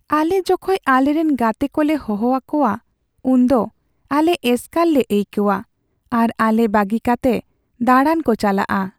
ᱟᱞᱮ ᱡᱚᱠᱷᱚᱡ ᱟᱞᱮᱨᱮᱱ ᱜᱟᱛᱮ ᱠᱚᱞᱮ ᱦᱚᱦᱚ ᱟᱠᱚᱣᱟ, ᱩᱱᱫᱚ ᱟᱞᱮ ᱮᱥᱠᱟᱨ ᱞᱮ ᱟᱹᱭᱠᱟᱹᱣᱟᱹ ᱟᱨ ᱟᱞᱮ ᱵᱟᱹᱜᱤ ᱠᱟᱛᱮ ᱫᱟᱬᱟᱱ ᱠᱚ ᱪᱟᱞᱟᱜᱼᱟ ᱾